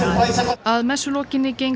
að messu lokinni gengu